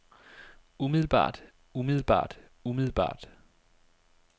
umiddelbart umiddelbart umiddelbart